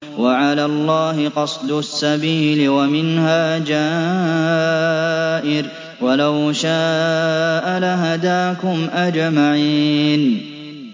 وَعَلَى اللَّهِ قَصْدُ السَّبِيلِ وَمِنْهَا جَائِرٌ ۚ وَلَوْ شَاءَ لَهَدَاكُمْ أَجْمَعِينَ